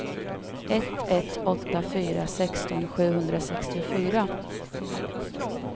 ett ett åtta fyra sexton sjuhundrasextiofyra